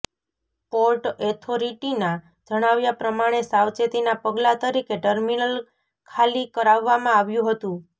port ઓથોરિટીના જણાવ્યા પ્રમાણે સાવચેતીનાં પગલાં તરીકે ટર્મિનલ ખાલી કરાવવામાં આવ્યું હતું